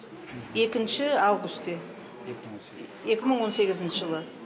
екінші августе екі мың он сегізінші жылы